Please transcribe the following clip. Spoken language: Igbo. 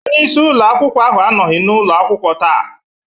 Onye isi ụlọ akwụkwọ ahụ anọghị n'ụlọ akwụkwọ taa.